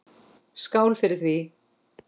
Skál fyrir því!